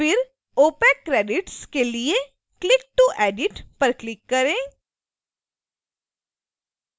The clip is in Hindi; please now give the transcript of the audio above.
फिर opaccredits के लिए click to edit पर क्लिक करें